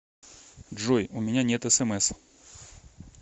джой у меня нет смс